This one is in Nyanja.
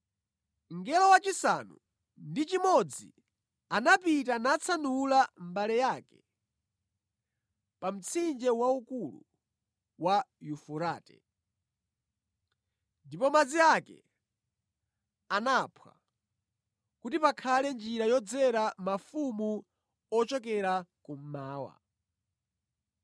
Mngelo wachisanu ndi chimodzi anapita natsanula mbale yake pa mtsinje waukulu wa Yufurate, ndipo madzi ake anaphwa kuti pakhale njira yodzera mafumu ochokera kummawa.